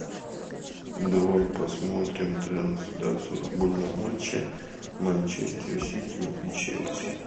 давай посмотрим трансляцию футбольного матча манчестер сити и челси